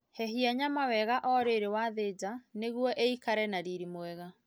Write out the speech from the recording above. Hehia nyama wega o rĩrĩ wathĩnja nĩguo ĩikare na riri mwega